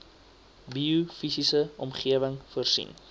biofisiese omgewing voorsien